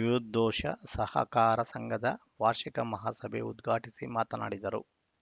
ವಿವಿದ್ದೋಶ ಸಹಕಾರ ಸಂಘದ ವಾರ್ಷಿಕ ಮಹಾಸಭೆ ಉದ್ಘಾಟಿಸಿ ಮಾತನಾಡಿದರು